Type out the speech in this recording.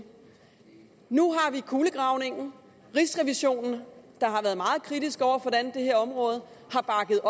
nu har vi kulegravningen rigsrevisionen der har været meget kritisk over for det her område har bakket